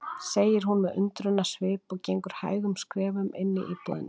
segir hún með undrunarsvip og gengur hægum skrefum inn í íbúðina.